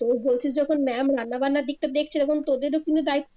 তো বলছিস যখন MA'AM রান্নাবান্নার দিকটা দেখছিলো তখন তোদেরও কিন্তু দায়িত্ব